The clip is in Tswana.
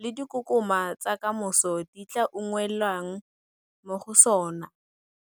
le dikokoma tsa ka moso di tla unngwelwang mo go sona.